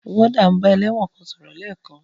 Wọ́dà n bá ẹlẹ́wọ̀n kan sọ̀rọ̀ lẹ́ẹ̀kan.